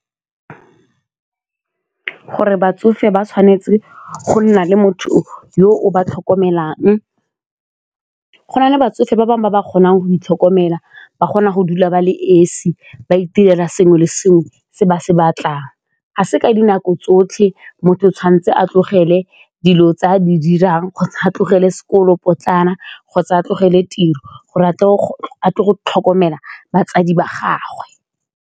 Gore batsofe ba tshwanetse go nna le motho yo o ba tlhokomelang, go na le batsofe ba bangwe ba ba kgonang go itlhokomela, ba kgona go dula ba le esi ba itirela sengwe le sengwe se ba se batlang, ga se ka dinako tsotlhe motho o tshwanetse a tlogele dilo tse a di dirang kgotsa tlogele sekolo potlana kgotsa a tlogele tiro go re a tlo go tlhokomela batsadi ba gagwe.